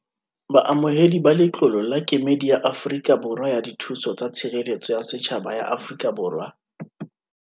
Baamohedi ba letlolo la Kemedi ya Afrika Borwa ya Dithuso tsa Tshireletso ya Setjhaba ya Afrika Borwa.